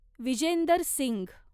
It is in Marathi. विजेंदर सिंघ